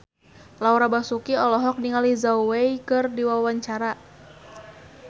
Laura Basuki olohok ningali Zhao Wei keur diwawancara